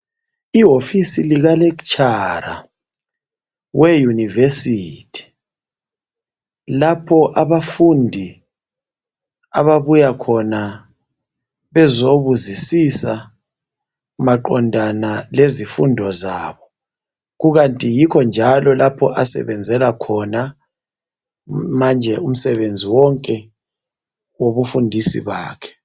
Ihofisi lika lecturer weYunivesithi lapha abafundi ababuya khona bezobuzisiza maqondana lezifundo zabo. kukanti yikho njala lapho asebenzela khona manje umsebenzi wonke wobundisa kwakhe.